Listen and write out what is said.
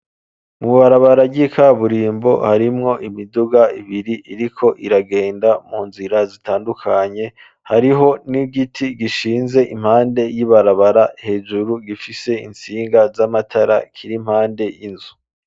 Mu barabara ngi kaburimbo harimwo imiduga ibiri iriko iragenda mu nzira zitandukanye, hariho n'igiti gishinze impande y'ibarabara hejuru gifise intsinga z'amatara kiri mpande y'inzu.